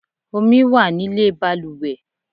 Omi wá nílé baluwe